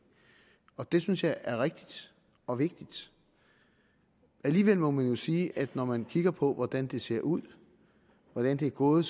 og det synes jeg er rigtigt og vigtigt alligevel må man jo sige at når man kigger på hvordan det ser ud hvordan det er gået